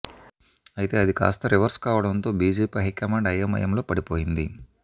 అయితే అది కాస్తా రివర్స్ కావడంతో బీజేపీ హైకాండ్ అయోమయంలో పడిపోయింది